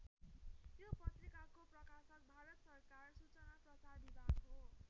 यो पत्रिकाको प्रकाशक भारत सरकार सूचना प्रसार विभाग हो।